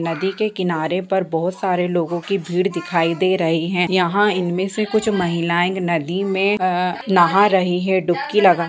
नदी के किनारे पर बहुत सारे लोगों की भीड़ दिखाई दे रही है यहाँ इन में कुछ महिलाएं नदी में आ नहा रही हैं डुबकी लगा--